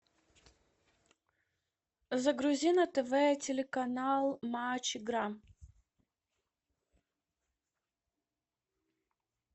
загрузи на тв телеканал матч игра